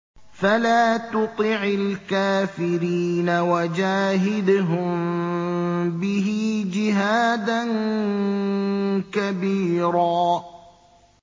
فَلَا تُطِعِ الْكَافِرِينَ وَجَاهِدْهُم بِهِ جِهَادًا كَبِيرًا